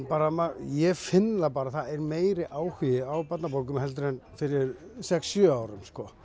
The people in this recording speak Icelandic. ég finn það bara að það er meiri áhugi á barnabókum heldur en fyrir sex til sjö árum